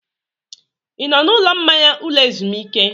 Ị nọ na ụlọ mmanya ụlọ ezumike?